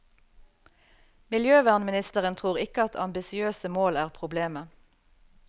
Miljøvernministeren tror ikke at ambisiøse mål er problemet.